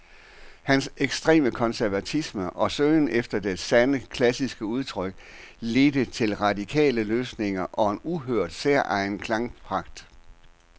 Hans ekstreme konservatisme og søgen efter det sande, klassiske udtryk ledte til radikale løsninger og en uhørt, særegen klangpragt.